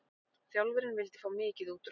Þjálfarinn vildi fá mikið út úr okkur.